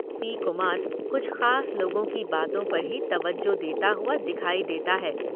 P Kumar कुछ खास लोगों की बातों पर ही तवज्जो देता हुआ दिखाई देता है।